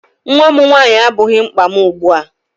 Nnwa nwaanyị abụghị mkpa m ugbu a.